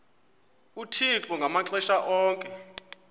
uthixo ngamaxesha onke